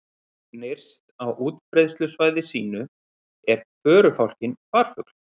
Nyrst á útbreiðslusvæði sínu er förufálkinn farfugl.